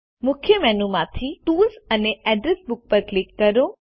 મુખ્ય મેનુ માંથી ટૂલ્સ અને એડ્રેસ બુક પર ક્લિક કરો